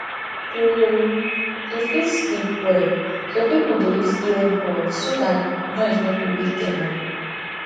to to fit sleep well some pipo dey use ear buds so dat noise no go wake dem up